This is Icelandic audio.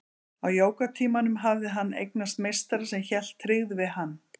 Á jógatímanum hafði hann eignast meistara sem hélt tryggð við hann.